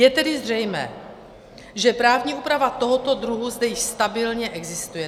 Je tedy zřejmé, že právní úprava tohoto druhu zde již stabilně existuje.